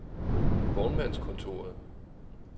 Vognmandskontoret